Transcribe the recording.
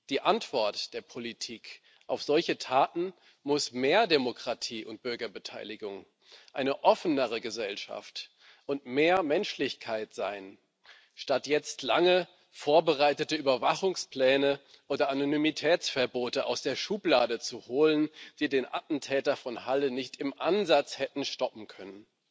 Die Antwort der Politik auf solche Taten muss mehr Demokratie und Bürgerbeteiligung, eine offenere Gesellschaft und mehr Menschlichkeit sein, statt jetzt lange vorbereitete Überwachungspläne oder Anonymitätsverbote aus der Schublade zu holen, die den Attentäter von Halle nicht im Ansatz hätten stoppen können.